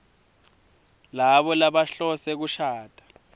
labo labahlose kushada